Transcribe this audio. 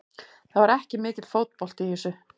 Það var ekki mikill fótbolti í þessu.